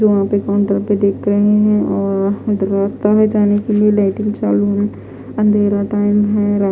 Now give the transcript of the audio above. यहाँ पर काउंटर पे देख रहे है और एक रास्ता है जाने के लिए लाइटिंग चालू हैअंधेरा टाइम है रात--